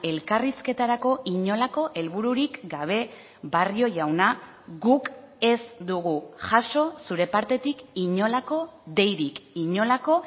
elkarrizketarako inolako helbururik gabe barrio jauna guk ez dugu jaso zure partetik inolako deirik inolako